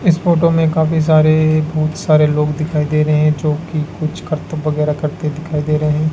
इस फोटो में काफी सारे बहुत सारे लोग दिखाई दे रहे हैं जो कि कुछ करतब वगैरह करते दिखाई दे रहे हैं।